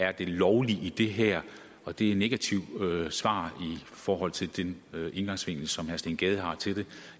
er det lovlige i det her og det er negative svar i forhold til den indgangsvinkel som herre steen gade har til det